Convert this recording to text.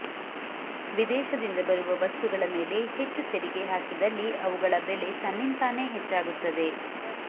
ವಿದೇಶದಿಂದ ಬರುವ ವಸ್ತುಗಳ ಮೇಲೆ ಹೆಚ್ಚು ತೆರಿಗೆ ಹಾಕಿದಲ್ಲಿ ಅವುಗಳ ಬೆಲೆ ತನ್ನಿಂತಾನೇ ಹೆಚ್ಚಾಗುತ್ತದೆ